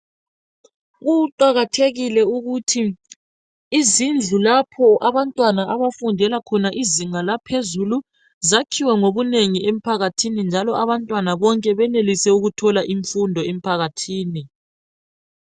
Kuqakathekile ukuthi izindlu lapho abantwana abafundela khona izinga laphezulu zakhiwe ngobunengi emphakathini njalo abantwana bonke benelise ukuthola imfundo emphakathini.